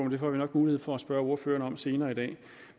det får vi nok mulighed for at spørge ordføreren om senere i dag